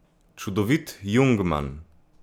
Čudovit jungmann.